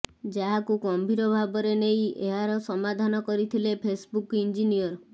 ଯାହାକୁ ଗମ୍ଭୀର ଭାବରେ ନେଇ ଏହାର ସମାଧାନ କରିଥିଲେ ଫେସ୍ବୁକ୍ ଇଞ୍ଜିନିୟର